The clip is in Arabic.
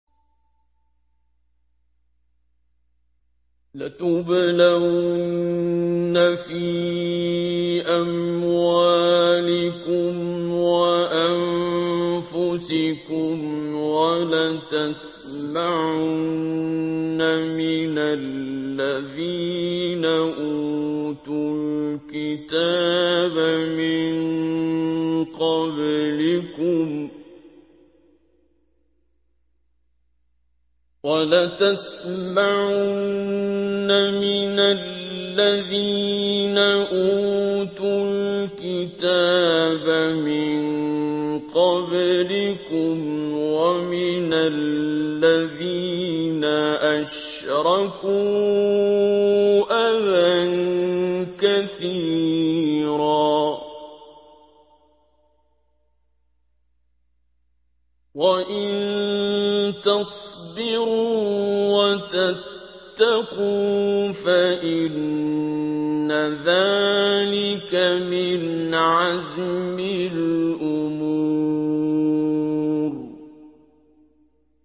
۞ لَتُبْلَوُنَّ فِي أَمْوَالِكُمْ وَأَنفُسِكُمْ وَلَتَسْمَعُنَّ مِنَ الَّذِينَ أُوتُوا الْكِتَابَ مِن قَبْلِكُمْ وَمِنَ الَّذِينَ أَشْرَكُوا أَذًى كَثِيرًا ۚ وَإِن تَصْبِرُوا وَتَتَّقُوا فَإِنَّ ذَٰلِكَ مِنْ عَزْمِ الْأُمُورِ